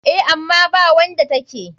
Eh, ama bawanda take.